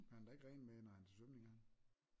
Han har da ikke rene med når han er til svømning har han